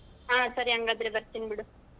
ಹಾ ಸರಿ ಹಂಗಾದ್ರೆ ಬರ್ತೀನಿ ಬಿಡು.